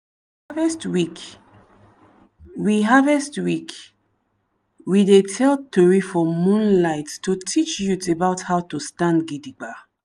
for harvest week we harvest week we dey tell tori for moonlight to teach youth about how to stand gidigba.